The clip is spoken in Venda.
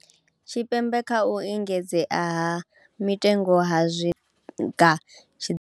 Tshipembe kha u engedzeaha mitengo ha tshinga.